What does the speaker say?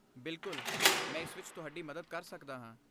ਬਿਲਕੁਲ, ਮੈਂ ਇਸ ਵਿੱਚ ਤੁਹਾਡੀ ਮਦਦ ਕਰ ਸਕਦਾ ਹਾਂ।